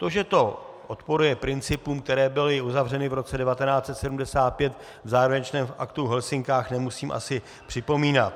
To, že to odporuje principům, které byly uzavřeny v roce 1975 v závěrečném aktu v Helsinkách, nemusím asi připomínat.